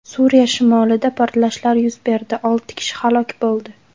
Suriya shimolida portlashlar yuz berdi, olti kishi halok bo‘ldi.